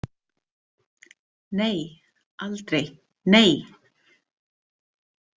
Nei, aldrei, nei!